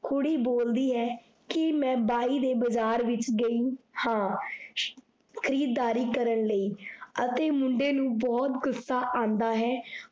ਕੁੜੀ ਬੋਲਦੀ ਹੈ, ਕੀ ਮੈ ਬਾਈ ਦੀ ਬਜਾਰ ਵਿੱਚ ਗੇਈ ਹਾਂ, ਖੀਰਦਾਰੀ ਕਰਨ ਲਈ ਅਤੇ ਮੁੰਡੇ ਨੂੰ ਬਹੁਤ ਗੁੱਸਾ ਆਂਦਾ ਹੈ।